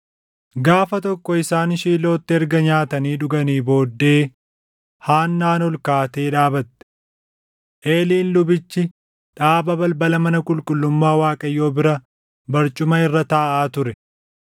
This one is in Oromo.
Gaafa tokko isaan Shiilootti erga nyaatanii dhuganii booddee Haannaan ol kaatee dhaabate. Eeliin lubichi dhaaba balbala mana qulqullummaa Waaqayyoo bira barcuma irra taaʼaa ture.